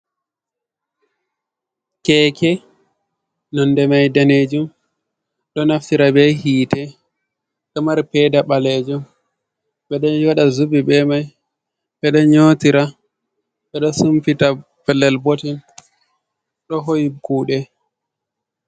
Keeke nonde mai daneejum, ɗo naftira be hite, ɗo mari peeda ɓaleejum, ɓe ɗo waɗa zubi be mai, ɓe ɗo nyoti ra, ɓe ɗo sumpita pellel botten, ɗo hoyi kuuɗe.